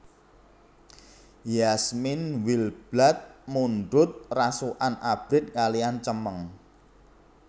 Yasmine Wildblood mundhut rasukan abrit kaliyan cemeng